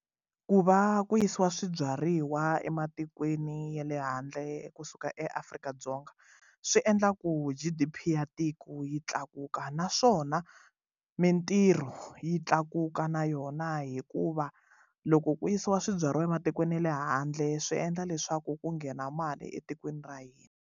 Ku va ku yisiwa swibyariwa ematikweni ya le handle kusuka eAfrika-Dzonga swi endla ku G_D_P ya tiko yi tlakuka naswona mintirho yi tlakuka na yona hikuva loko ku yisiwa swibyariwa ematikweni ya le handle swi endla leswaku ku nghena mali etikweni ra hina.